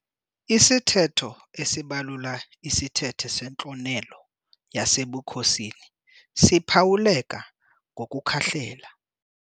Isithetho esibalula isithethe sentlonelo yasebukhosini siphawuleka ngokukhahlela.